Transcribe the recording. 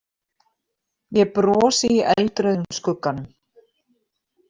Ég brosi í eldrauðum skugganum.